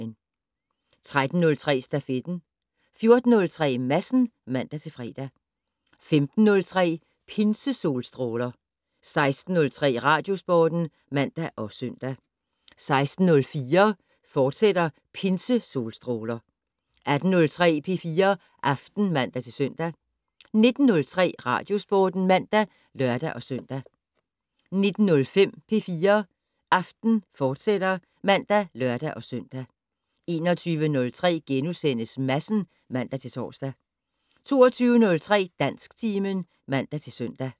13:03: Stafetten 14:03: Madsen (man-fre) 15:03: Pinsesolstråler 16:03: Radiosporten (man og søn) 16:04: Pinsesolstråler, fortsat 18:03: P4 Aften (man-søn) 19:03: Radiosporten (man og lør-søn) 19:05: P4 Aften, fortsat (man og lør-søn) 21:03: Madsen *(man-tor) 22:03: Dansktimen (man-søn)